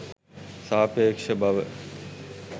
සාපේක්ෂ බව